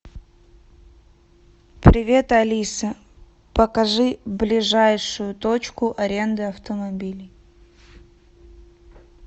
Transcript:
привет алиса покажи ближайшую точку аренды автомобилей